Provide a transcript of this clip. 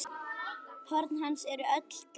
Horn hans eru öll gleið.